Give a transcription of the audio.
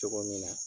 Cogo min na